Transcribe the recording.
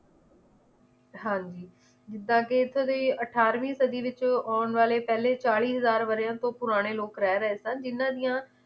ਹਾਂਜੀ ਜਿਦਾਂ ਕਿ ਇਥੋਂ ਦੀ ਅਠਾਰਵੀਂ ਸਦੀ ਵਿਚ ਆਉਣ ਵਾਲੇ ਪਹਿਲੇ ਚਾਲੀ ਹਜ਼ਾਰ ਵਰ੍ਹਿਆਂ ਤੋਂ ਪੁਰਾਣੇ ਲੋਕ ਰਹਿ ਰਹੇ ਸਨ ਜਿਨਾਂ ਦੀਆਂ